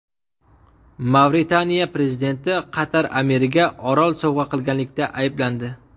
Mavritaniya prezidenti Qatar amiriga orol sovg‘a qilganlikda ayblandi.